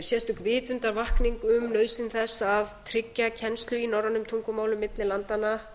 sérstök vitundarvakning um nauðsyn þess að tryggja kennslu í norrænum tungumálum milli landanna